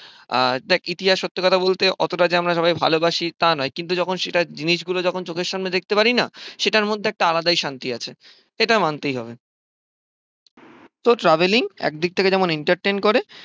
আর দেখ ইতিহাস সত্যি কথা বলতে অতটা যে আমরা সবাই ভালোবাসি তা নয়। কিন্তু যখন সেটা জিনিসগুলো যখন চোখের সামনে দেখতে পারিনা সেটার মধ্যে একটা আলাদাই শান্তি আছে এটা মানতেই হবে। তো ট্রাভেলিং একদিক থেকে যেমন এন্টারটেইন করে